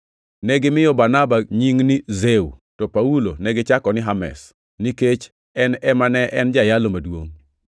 Negimiyo Barnaba nying ni Zeu, to Paulo negichako ni Hermes, nikech en ema ne en jayalo maduongʼ.